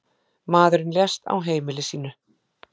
Maðurinn lést á heimili sínu.